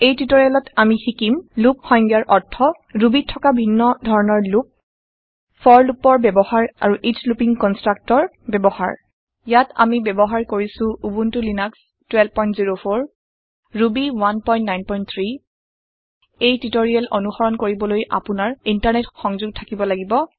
এই টিওটৰিয়েলত আমি শিকিম লুপ সংজ্ঞাৰ অৰ্থ Rubyত থকা ভিন্ন ধৰনৰ লুপ forলুপৰ ব্যৱহাৰ আৰু এচ লুপিং কনষ্ট্ৰাক্টৰ ব্যৱহাৰ ইয়াত আমি ব্যৱহাৰ কৰিছো উবুন্টু লিনাক্স 1204 ৰুবি 193 এই টিওটৰিয়েল অনুসৰণ কৰিবলৈ আপোনাৰ ইণ্টাৰনেট সংযোগ থাকিব লাগিব